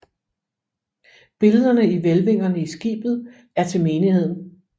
Billederne i hvælvingerne i skibet er til menigheden